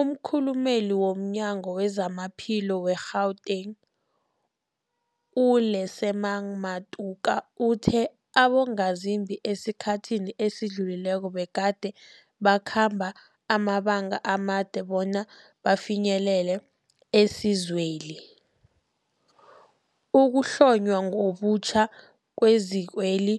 Umkhulumeli womNyango weZamaphilo we-Gauteng, u-Lesemang Matuka uthe abongazimbi esikhathini esidlulileko begade bakhamba amabanga amade bona bafinyelele isizweli. Ukuhlonywa ngobutjha kwezikweli